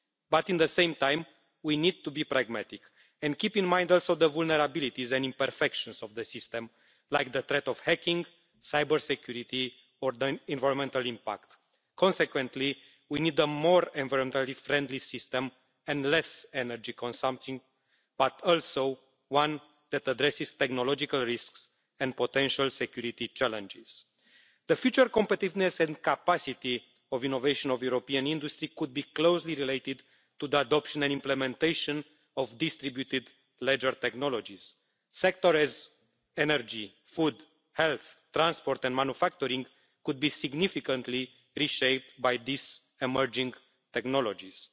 But at the same time we need to be pragmatic and keep in mind also the vulnerabilities and imperfections of the system like the threat of hacking, risks to cybersecurity and the environmental impact. Consequently, we need a more environmentally friendly system and a less energy consuming one, but also one that addresses technological risks and potential security challenges. The future competitiveness and capacity for innovation of European industry could be closely related to the adoption and implementation of distributed ledger technologies. Sectors such as energy, food, health, transport and manufacturing could be significantly reshaped by these emerging technologies.